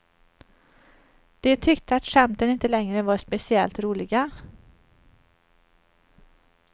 De tyckte att skämten inte längre var speciellt roliga.